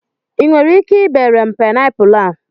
I nwere ike ibere m paịnapụlụ a?